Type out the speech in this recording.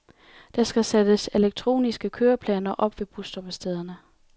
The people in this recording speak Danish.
Der skal sættes elektroniske køreplaner op ved busstoppestederne.